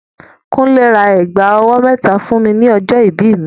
Kúnlé ra ẹ̀gbà ọwọ́ mẹ́ta fún mi ní ọjọ́ ìbí mi.